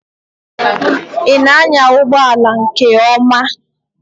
Ị na anya ụgbọ ala nke ọma?